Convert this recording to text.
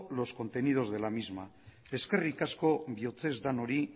los contenidos de la misma eskerrik asko bihotzez denoi